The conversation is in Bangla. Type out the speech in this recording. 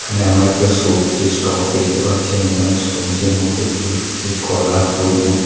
এখানে আমরা একটা সবজি স্টক দেখতে পাচ্ছি এবং এখানে সবজির মধ্যে ফুলকপি কলা তরমুজ--